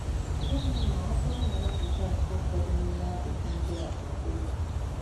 Gịnị ma ọ bụrụ na azịza nke ụfọdụ n'ime ajụjụ ndị a bụ ee?